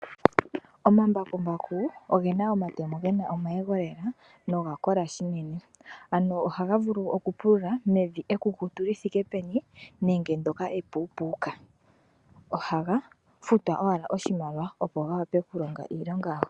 Omambakumbaku ogena omatemo gena omayego lela noga kola shinene, ano ohaga vulu oku pulula mevi ekukutu li thike peni nenge ndyoka epuupuuka. Ohaga futwa owala oshimaliwa, opo ga wape oku longa iilonga yago.